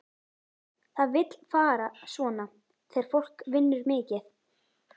Það vill fara svona þegar fólk vinnur mikið.